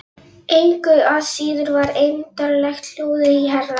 Engu að síður var eymdarlegt hljóðið í herra